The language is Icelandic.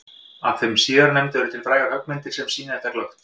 Af þeim síðarnefndu eru til frægar höggmyndir sem sýna þetta glöggt.